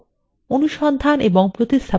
অনুসন্ধান এবং প্রতিস্থাপন করা